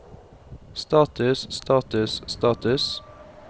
status status status